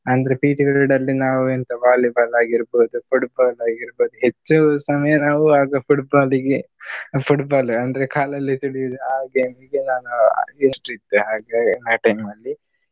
ಅಂದ್ರೆ PT period ಲ್ಲಿ ನಾವು ಎಂತ Volleyball ಆಗಿರ್ಬಹುದು Football ಆಗಿರ್ಬಹುದು. ಹೆಚ್ಚು ಸಮಯ ನಾವು ಆಗ Football ಗೆ Football ಅಂದ್ರೆ ಕಾಲಲ್ಲಿ ತುಳಿಯುವುದು ಹಾಗೆ ಹೀಗೆ ನಾನು interest ಇತ್ತು ಹಾಗೆ ಆ time ಲ್ಲಿ.